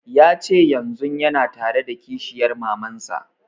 Ya ce yanzun yana tare da kishiyar maman sa